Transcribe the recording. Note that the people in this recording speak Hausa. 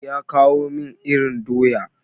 Ya kawo min irin doya.